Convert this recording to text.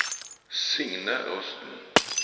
Signe Rusten